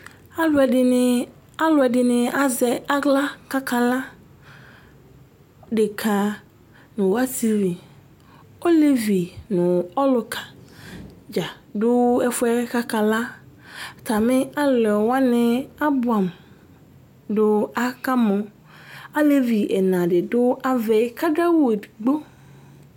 alu ɛdini, alu ɛdini azɛ aɣla ku aka la, deka nu ɔsivi, olevi nu ɔluka dza du ɛfuɛ ku aka la, ata mi alɔ wʋani abʋam du akamo, alevi ɛna di du avɛ ku adu awu edigbo